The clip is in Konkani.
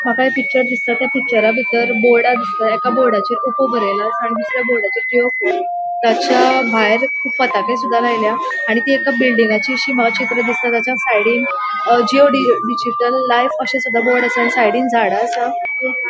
माका एक पिक्चर दिसता त्या पिक्चर बितर बोर्ड दिसता एक बोर्डाचेर बरेले असा आणि दुसर्या बोर्डाचेर ताचा भायर लायल्या आणि एक बिल्डिंगची सीमाक्षेत्र दिसता ताचा साइडिक जिओ डिजिटल लाइफ अशे बोर्ड असा आणि साइडीन झाड़ असा --